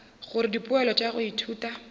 gore dipoelo tša go ithuta